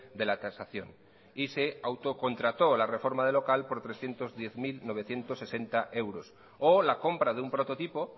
de la tasación y se auto contrató la reforma del local por trescientos diez mil novecientos sesenta euros o la compra de un prototipo